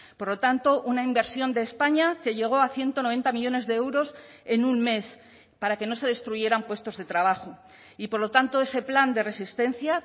por lo tanto una inversión de españa que llegó a ciento noventa millónes de euros en un mes para que no se destruyeran puestos de trabajo y por lo tanto ese plan de resistencia